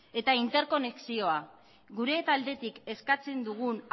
eta interkonexioa gure taldetik eskatzen dugun